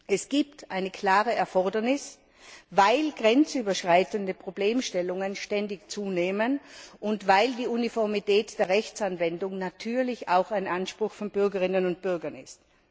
Es gibt eine klare Erfordernis, weil grenzüberschreitende Problemstellungen ständig zunehmen und weil die Uniformität der Rechtsanwendung natürlich auch ein Anspruch von Bürgerinnen und Bürgern ist.